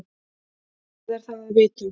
Hvað er það að vita?